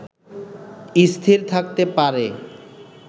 স্থির থাকতে পারে